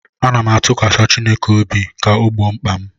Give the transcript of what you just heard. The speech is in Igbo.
M na-atụkwasị Chineke obi ka ọ gboo mkpa m